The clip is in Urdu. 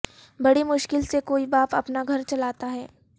بڑی مشکل سے کوئی باپ اپنا گھر چلاتا ہے